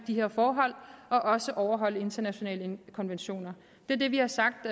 de her forhold og også overholde internationale konventioner det er det vi har sagt